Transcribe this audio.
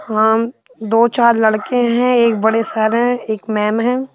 हम दो चार लड़के हैं एक बड़े सर हैं एक मैम है।